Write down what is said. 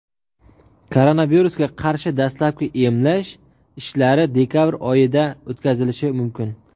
Koronavirusga qarshi dastlabki emlash ishlari dekabr oyida o‘tkazilishi mumkin.